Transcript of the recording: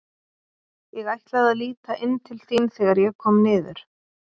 Ég ætlaði að líta inn til þín þegar ég kom niður.